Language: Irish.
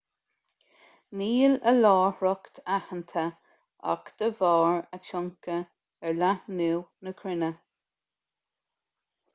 níl a láithreacht aitheanta ach de bharr a tionchar ar leathnú na cruinne